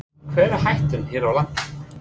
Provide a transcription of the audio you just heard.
En hver er hættan hér á landi?